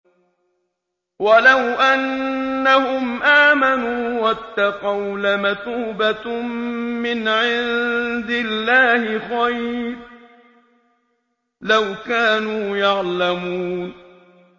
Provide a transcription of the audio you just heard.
وَلَوْ أَنَّهُمْ آمَنُوا وَاتَّقَوْا لَمَثُوبَةٌ مِّنْ عِندِ اللَّهِ خَيْرٌ ۖ لَّوْ كَانُوا يَعْلَمُونَ